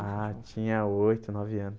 Ah, tinha oito, nove anos.